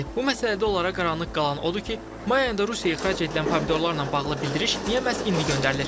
Bu məsələdə onlara qaranlıq qalan odur ki, may ayında Rusiyaya ixrac edilən pomidorlarla bağlı bildiriş niyə məhz indi göndərilir?